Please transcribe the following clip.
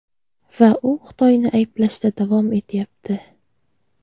Va u Xitoyni ayblashda davom etyapti.